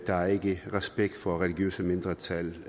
der er ikke respekt for religiøse mindretal